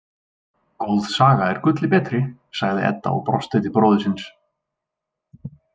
Góð saga er gulli betri, sagði Edda og brosti til bróður síns.